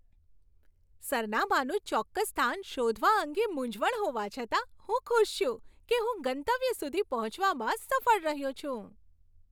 સરનામાનું ચોક્કસ સ્થાન શોધવા અંગે મૂંઝવણ હોવા છતાં, હું ખુશ છું કે હું ગંતવ્ય સુધી પહોંચવામાં સફળ રહ્યો છું.